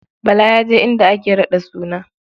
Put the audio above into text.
Bala ya je inda ake raɗa suna.